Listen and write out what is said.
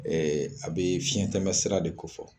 Ɛɛ a be fiɲɛ tɛmɛ sira de ko fɔ.